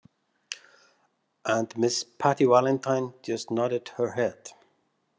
And Miss Patty Valentine just nodded her head.